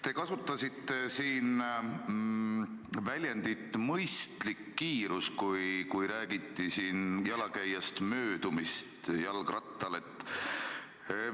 Te kasutasite siin väljendit "mõistlik kiirus", kui räägiti jalakäijast möödumisest jalgrattal.